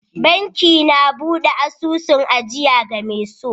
Banki na buɗe asusun ajiya game so